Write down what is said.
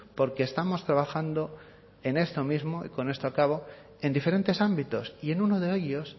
porque estamos trabajando en esto mismo y con esto acabo en diferentes ámbitos y en uno de ellos